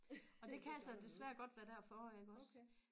og det kan altså desværre godt være derfor iggås